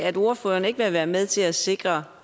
at ordføreren ikke vil være med til at sikre